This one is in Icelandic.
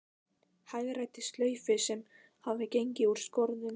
Hagræddi slaufu sem hafði gengið úr skorðum.